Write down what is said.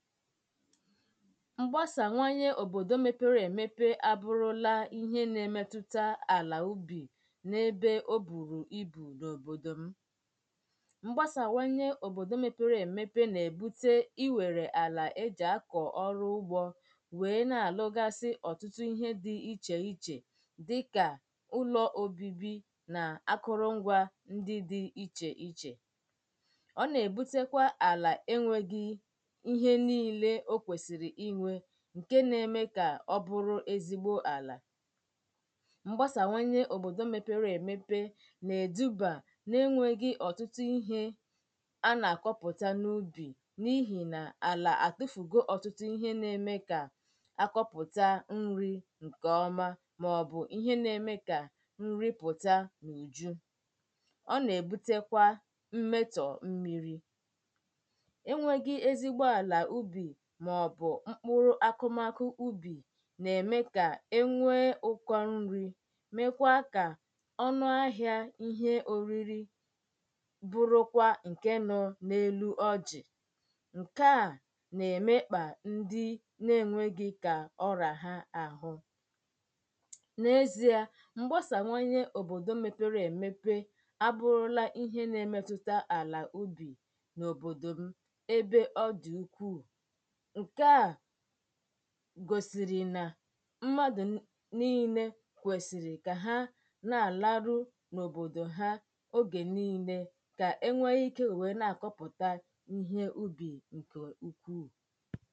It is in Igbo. ḿgbasawànye òbòdò mepere èmepe àbụrụla íhe nà-emetuta àlà ubì ebe o bùrù ibù n’òbòdò m mgbasawànye òbòdò mepere èmepe nà-èbute iwèrè àlà e jì akọ̀ ọrụ ugbō wee na-àlụgasị ọ̀tụtụ ihe di ichèichè dịkà ụlọ̀ obībī na akụrụ ngwā ndi di ichèichè ọ nà-èbutekwa àlà enwēghī íhé níílē ó kwèsìrì ínwē ǹkè ná-émé ká ọ́ bụ́rụ́ ézígbó àlà mgbasawànye òbòdò mepere èmepe nà-èdubà n’enwēghī ọ̀tụtụ ihe a na-àkọpụta n’ubì n’ihì àlà àtufùgo ọ̀tụtụ ihe na-eme kà àkọpụta nrī ǹkèọma màọbụ̀ ihe na-eme kà nri pụ̀ta n’ùju ọ nà-èbutekwa mmetọ̀ mmirī enwēghī ezigbo àlà ubì màọbụ̀ mkpụrụ akụmakụ ubì nà-ème kà ènwee ụ̀kọ nri mekwaa kà ọnụ ahịā ihe òriri bụrụkwa ǹkè nọ n’elu ọjị̀ ǹkè a nà-èmekpà ndi nà-enwēghī kà ọrà ha àhụ n’ezìa mgbasawànye òbòdò mepere èmepe àbụrụla ihe nà-emetuta àlà ubì n’Òbòdò m̀ ebe ọ dị̀ ukwuu ǹkè a gòsìrì nà mmadụ̀ niilē kwèsìrì kà ha nà-àlaru n’òbòdò ha ogè niilē kà enwee ike wee nà-àkọpụ̀ta ihe ubì